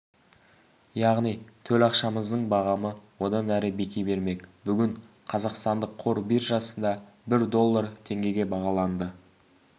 яғни төл ақшамыздың бағамы одан әрі беки бермек бүгін қазақстандық қор биржасында бір доллар теңгеге бағаланды